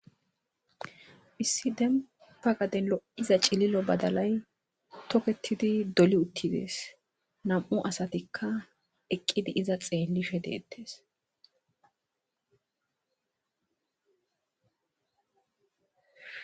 Issi dempa gaden lo7iza cililo badalay toketidi doli uttides nam7u asatikka eqqidi iza xeellife deettes